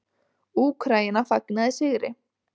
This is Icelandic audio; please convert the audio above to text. Úkraína fagnaði sigri